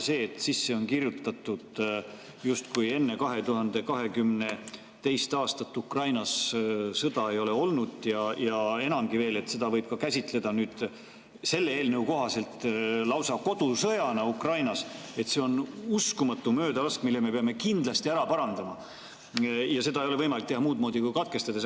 See, et sisse on kirjutatud, et justkui enne 2022. aastat Ukrainas sõda ei ole olnud ja enamgi veel, et seda võib käsitleda selle eelnõu kohaselt lausa kodusõjana Ukrainas, on uskumatu möödalask, mille me peame kindlasti ära parandama ja seda ei ole võimalik teha muud moodi kui katkestades.